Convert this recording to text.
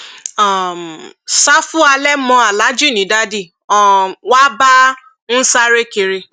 um ṣàfù halẹ mọ aláàjì ni dádì um wa bá ń sáré kiri